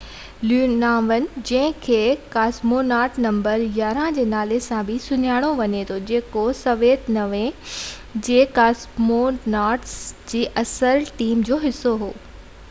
Leonov جنهن کي cosmonaut number 11 جي نالي سان بہ سڃاتو وڃي ٿو جيڪو سويت يونين جي ڪاسموناٽس جي اصل ٽيم جو حصو هو